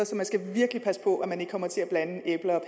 så man skal virkelig passe på at man ikke kommer til at blande æbler